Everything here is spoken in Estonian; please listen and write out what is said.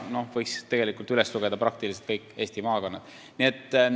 Tegelikult võiks üles lugeda peaaegu kõik Eesti maakonnad.